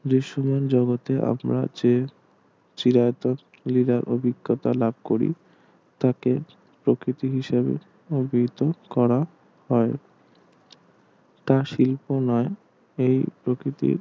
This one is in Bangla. দৃশ্য মান জগতে আপনার চেয়ে চিরাচরিত অভিজ্ঞতা লাভ করি তাকে প্রকৃতি হিসাবে অভিহিত করা হয় তা শিল্প নই এই প্রকৃতির